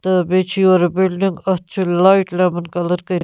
تہٕ بیٚیہِ چٟھ یورٕ بِلڈِنگ اَتھ چٟھ لایٹ لیمن کلر کٔرِتھ